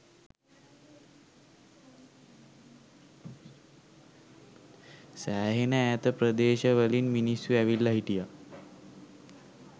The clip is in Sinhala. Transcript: සෑහෙන ඈත ප්‍රදේශ වලින් මිනිස්සු ඇවිල්ල හිටිය.